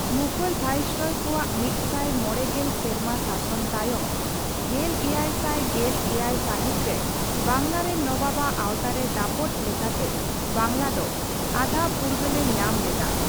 ᱢᱩᱜᱷᱚᱞ ᱵᱷᱟᱭᱥᱚᱨᱚᱭ ᱠᱚᱣᱟᱜ ᱢᱤᱛᱥᱟᱭ ᱢᱚᱲᱮ ᱜᱮᱞ ᱥᱮᱨᱢᱟ ᱥᱟᱥᱚᱱ ᱛᱟᱭᱚᱢ, ᱜᱮᱞᱮᱭᱮᱭᱥᱟᱭ ᱜᱮᱞᱮᱭᱟᱭ ᱥᱟᱹᱦᱤᱛ ᱨᱮ ᱵᱟᱝᱞᱟ ᱨᱮᱱ ᱱᱚᱵᱟᱵᱟᱜ ᱟᱣᱛᱟᱨᱮ ᱫᱟᱯᱚᱴ ᱞᱮᱠᱟᱛᱮ ᱵᱟᱝᱞᱟ ᱫᱚ ᱟᱫᱷᱟᱼᱯᱷᱩᱨᱜᱟᱹᱞ ᱮ ᱧᱟᱢ ᱞᱮᱫᱟ ᱾